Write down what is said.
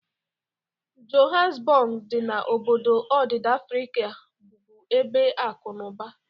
Johanasbog dị na obodo odida Afrika bụbu ebe akụ na ụba.